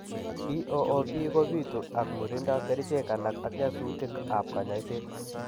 BOOP ko bitu ak murindo, kerichek alak ak nyasutik ab kanyaiset